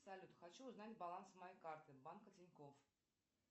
салют хочу узнать баланс моей карты банка тинькофф